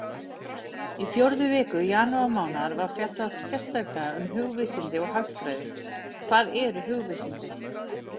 Í fjórðu viku janúarmánaðar var fjallað sérstaklega um hugvísindi og hagfræði: Hvað eru hugvísindi?